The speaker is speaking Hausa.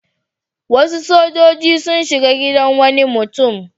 Wasu sojoji sun shiga gidan wani mutum.